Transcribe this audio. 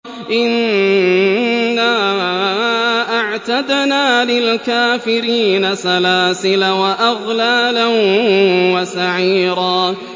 إِنَّا أَعْتَدْنَا لِلْكَافِرِينَ سَلَاسِلَ وَأَغْلَالًا وَسَعِيرًا